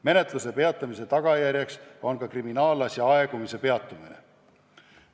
Menetluse peatamise tagajärjeks on ka kriminaalasja aegumise peatumine.